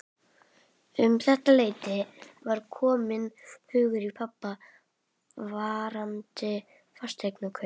Um þetta leyti var kominn hugur í pabba varðandi fasteignakaup.